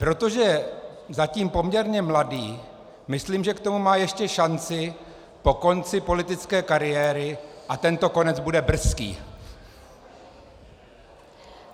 Protože je zatím poměrně mladý, myslím, že k tomu má ještě šanci po konci politické kariéry a tento konec bude brzký.